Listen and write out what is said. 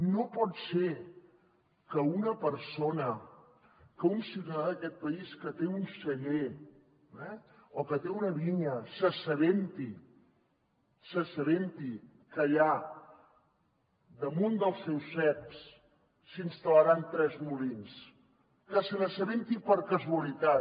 no pot ser que una persona que un ciutadà d’aquest país que té un celler o que té una vinya s’assabenti que allà damunt dels seus ceps s’hi instal·laran tres molins que se n’assabenti per casualitat